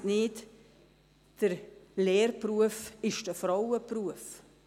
Vergessen Sie nicht: Der Lehrberuf ist ein Frauenberuf.